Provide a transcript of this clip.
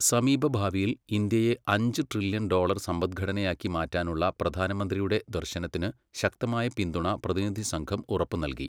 സമീപ ഭാവിയിൽ ഇന്ത്യയെ അഞ്ച് ട്രില്ല്യൺ ഡോളർ സമ്പദ്ഘടനയാക്കി മാറ്റാനുള്ള പ്രധാനമന്ത്രിയുടെ ദർശനത്തിന് ശക്തമായ പിന്തുണ പ്രതിനിധി സംഘം ഉറപ്പ് നൽകി.